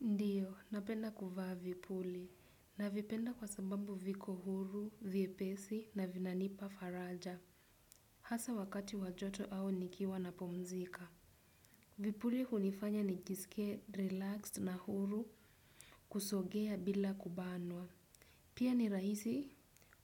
Ndiyo, napenda kuvaa vipuli. Navipenda kwa sababu viko huru, vyepesi, na vinanipa faraja. Hasa wakati wa joto au nikiwa napumzika. Vipuli hunifanya nijisikie relaxed na huru kusogea bila kubanwa. Pia ni rahisi